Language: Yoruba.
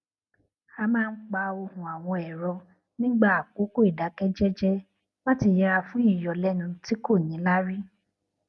a máa ń pa ohùn àwọn ẹrọ nígbà àkókò ìdákẹ jẹjẹ láti yẹra fún ìyọlénu tí kò níláárí